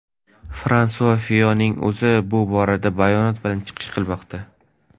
Fransua Fiyonning o‘zi bu borada bayonot bilan chiqishi kutilmoqda.